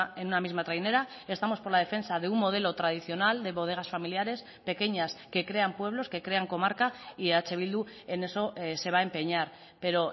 en una misma trainera estamos por la defensa de un modelo tradicional de bodegas familiares pequeñas que crean pueblos que crean comarca y eh bildu en eso se va a empeñar pero